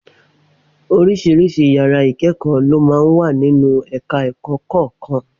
Oríṣiríṣi yàrá ìkẹ́kọ̀ọ́ ló máa ń wà nínú ẹ̀ka ẹ̀kọ́ kọ̀ọ̀kan